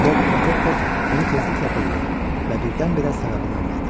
Lord Protektor bunu tezliklə duydu və birdən-birə səbəbini anladı.